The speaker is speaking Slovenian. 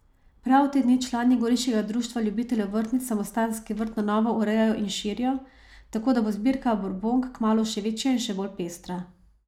Prav te dni člani Goriškega društva ljubiteljev vrtnic samostanski vrt na novo urejajo in širijo, tako da bo zbirka burbonk kmalu še večja in še bolj pestra.